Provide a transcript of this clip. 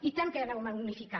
i tant que anàvem a unificar